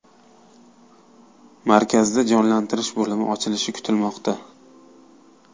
Markazda jonlantirish bo‘limi ochilishi kutilmoqda.